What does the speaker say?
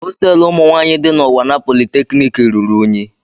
Hostelu umụ nwanyị di na unwana polytechniki ruru unyi.